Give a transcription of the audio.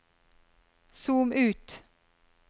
zoom ut